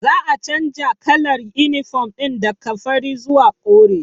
Za a canja kalar inifom ɗin daka fari zuwa kore